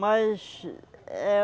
Mas é